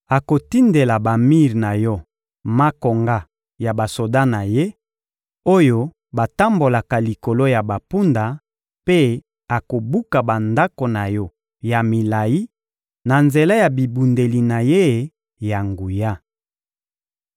Akotindela bamir na yo makonga ya basoda na ye, oyo batambolaka likolo ya bampunda mpe akobuka bandako na yo ya milayi na nzela ya bibundeli na ye ya nguya.